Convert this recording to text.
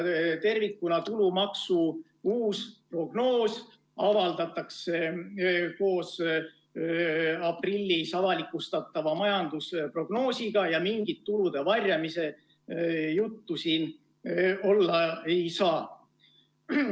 Tervikuna avaldatakse tulumaksu uus prognoos koos aprillis avalikustatava majandusprognoosiga ja mingit tulude varjamise juttu siin olla ei saa.